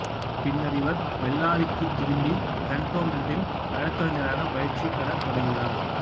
பின்னர் இவர் பெல்லாரிக்குத் திரும்பி கன்டோன்மென்ட்டில் வழக்கறிஞராகப் பயிற்சி பெறத் தொடங்கினார்